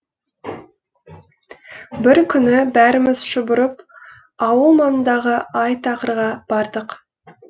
бір күні бәріміз шұбырып ауыл маңындағы ай тақырға бардық